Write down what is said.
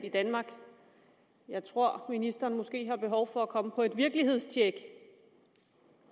i danmark jeg tror ministeren måske har behov for at komme på et virkelighedstjek